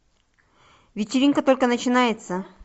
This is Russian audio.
вечеринка только начинается